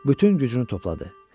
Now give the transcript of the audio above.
Bütün gücünü topladı.